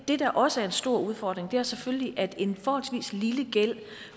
det der også er en stor udfordring er selvfølgelig at en forholdsvis lille gæld